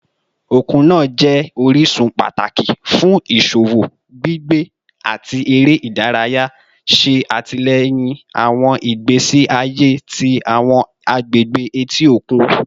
Okun naa jẹ orisun pataki fun iṣowo, gbigbe, ati ere idaraya, ṣe atilẹyin awọn igbesi aye ti awọn agbegbe eti okun